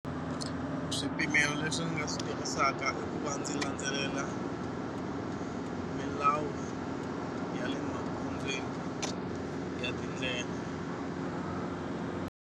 Swipimelo leswi ndzi nga swi tirhisaka ku va ndzi landzelela milawu ya le magondzweni ya tindlela.